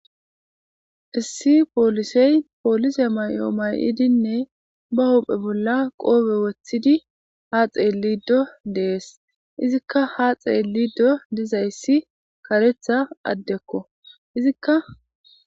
Issi poolisey poolise may'o may'idinne ba huphe bolla qoobe wothidi ha xeelido dees izikka ha xeellido dizayssi karetha addekko izikka.